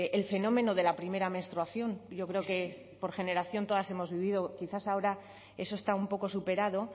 el fenómeno de la primera menstruación yo creo que por generación todas hemos vivido quizás ahora eso está un poco superado